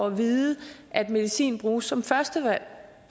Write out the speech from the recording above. at vide at medicin bruges som første valg